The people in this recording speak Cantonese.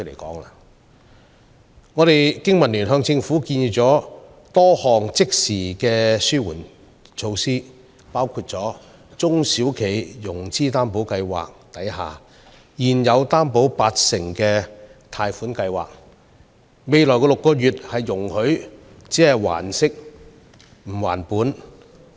經民聯向政府建議了多項即時的紓困措施，包括容許現時在中小企融資擔保計劃下獲八成擔保額的貸款項目，在未來6個月還息不還本。